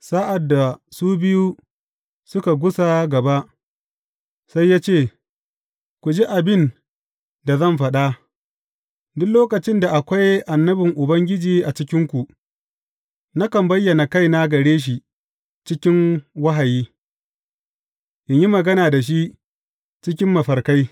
Sa’ad da su biyu suka gusa gaba, sai ya ce, Ku ji abin da zan faɗa, Duk lokacin da akwai annabin Ubangiji a cikinku, nakan bayyana kaina gare shi cikin wahayi, in yi magana da shi cikin mafarkai.